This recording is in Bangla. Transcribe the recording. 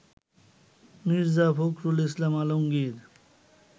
মীর্জা ফখরুল ইসলাম আলগমগীর